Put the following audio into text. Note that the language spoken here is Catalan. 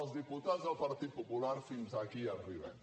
els diputats del partit popular fins aquí hi arribem